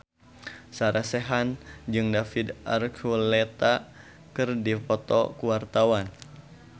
Sarah Sechan jeung David Archuletta keur dipoto ku wartawan